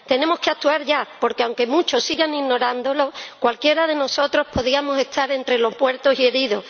Tenemos que actuar ya, porque aunque muchos sigan ignorándolo, cualquiera de nosotros podríamos estar entre los muertos y heridos.